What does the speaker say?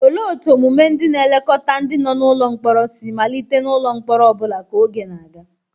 Olee otú omume ndị na-elekọta ndi no n'ụlọ mkpọrọ si malite n'ụlọ mkpọrọ ọ bụla ka oge na-aga?